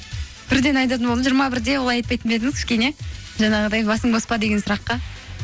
бірден айтатын болдың жиырма бірде олай айтпайтын ба едіңіз кішкене жаңағыдай басың бос па деген сұраққа